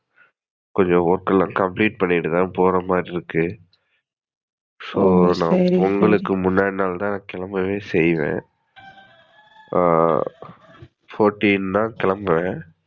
கொஞ்சம் work எல்லாம் complete பண்ணிட்டு போறமாதிரி இருக்கு. So நான் பொங்கலுக்கு முன்னாடி நாளுதான் கிளம்பவே செய்வேன். ஆஹ் Fourteen தான் கிளம்புவேன்.